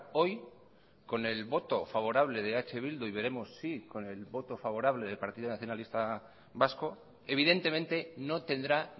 hoy con el voto favorable de eh bildu y veremos si con el voto favorable del partido nacionalista vasco evidentemente no tendrá